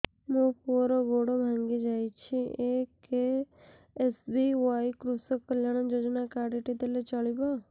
ମୋ ପୁଅର ଗୋଡ଼ ଭାଙ୍ଗି ଯାଇଛି ଏ କେ.ଏସ୍.ବି.ୱାଇ କୃଷକ କଲ୍ୟାଣ ଯୋଜନା କାର୍ଡ ଟି ଦେଲେ ଚଳିବ